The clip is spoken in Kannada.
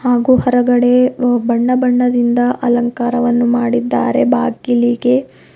ಹಾಗೂ ಹೊರಗಡೆ ಬಣ್ಣ ಬಣ್ಣದಿಂದ ಅಲಂಕಾರವನ್ನು ಮಾಡಿದ್ದಾರೆ ಬಾಗಿಲಿಗೆ.